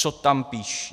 Co tam píší.